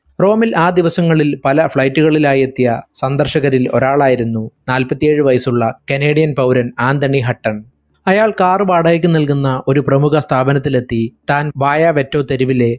റോമിൽ ആ ദിവസങ്ങളിൽ പല flight കളിലായി എത്തിയ സന്ദർശകരിൽ ഒരാളായിരുന്നു നാല്പത്തേഴു വയസ്സുള്ള canadian പൗരൻ ആന്തണി ഹട്ടൻ അയാൾ car വാടകയ്ക്ക് നൽകുന്ന ഒരു പ്രമുഖ സ്ഥാപനത്തിലെത്തി താൻ ബായ വെറ്റോ തെരുവിലെ